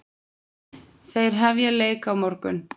Þeir hefja leik á morgun.